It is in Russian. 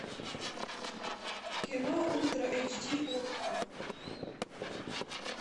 кино ультра эйч ди окко